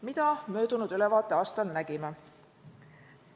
Mida me möödunud ülevaateaastal nägime?